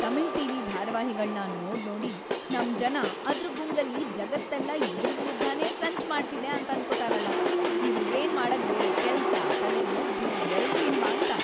Tamil TV ಧಾರಾವಾಹಿಗಳ್ನ ನೋಡ್ನೋಡಿ ನಮ್ ಜನ ಅದ್ರ್‌ ಗುಂಗಲ್ಲಿ ಜಗತ್ತೆಲ್ಲ ಇವ್ರ್ ವಿರುದ್ಧನೇ ಸಂಚ್‌ ಮಾಡ್ತಿದೆ ಅಂತನ್ಕೊತಾರಲ, ಇವ್ರಿಗೇನ್‌ ‌ಮಾಡಕ್‌ ಬೇರೆ ಕೆಲ್ಸ, ತಲೆಲ್ ಬುದ್ಧಿ ಎರ್ಡೂ ಇಲ್ವಾಂತ!